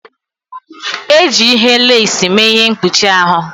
E ji ihe lasị mee ihe mkpuchi ahụ.